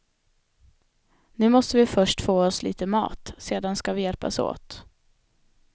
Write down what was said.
Nu måste vi först få oss lite mat, sedan ska vi hjälpas åt.